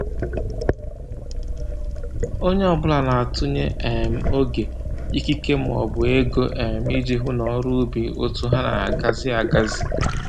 Onye ọbụla na-atụnye um oge, ikike maọbụ ego um iji hụ n'ọrụ ubi otu ha ga-agazi agazi